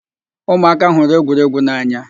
Ụmụaka hụrụ egwuregwu n'anya